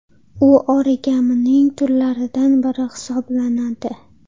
U origamining turlaridan biri hisoblanadi.